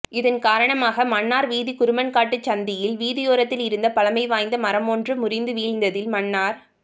இதன் காரணமாக மன்னார் வீதி குருமன்காட்டு சந்தியில் வீதியோரத்திலிருந்த பழமைவாய்ந்த மரமொன்று முறிந்து வீழ்ந்ததில் மன்னார்